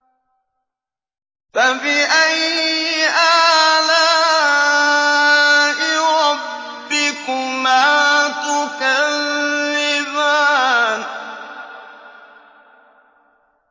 فَبِأَيِّ آلَاءِ رَبِّكُمَا تُكَذِّبَانِ